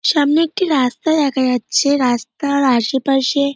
সামনে একটি রাস্তা দেখা যাচ্ছে রাস্তার আশেপাশে--